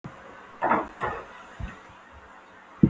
Fyrir kemur og að hiti í borholum á